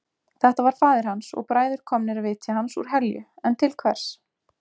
Þetta var faðir hans og bræður komnir að vitja hans úr helju en til hvers?